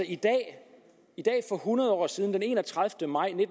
i dag for hundrede år siden den enogtredivete maj